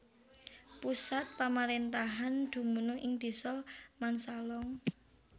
Pusat pamaréntahan dumunung ing Désa Mansalong